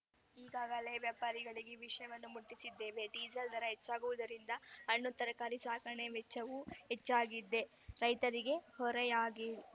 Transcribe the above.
ಈಗಾಗಲೇ ವ್ಯಾಪಾರಿಗಳಿಗೆ ವಿಷಯ ಮುಟ್ಟಿಸಿದ್ದೇವೆ ಡೀಸೆಲ್‌ ದರ ಹೆಚ್ಚಾಗುವುದರಿಂದ ಹಣ್ಣುತರಕಾರಿ ಸಾಗಣೆ ವೆಚ್ಚವೂ ಹೆಚ್ಚಾಗಿದ್ದು ರೈತರಿಗೆ ಹೊರೆಯಾಗಿದೆ